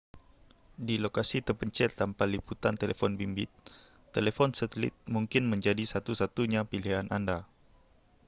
di lokasi terpencil tanpa liputan telefon bimbit telefon satelit mungkin menjadi satu-satunya pilihan anda